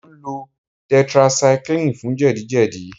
Mò ń lo tetracycline fún jẹ̀díjẹ̀dí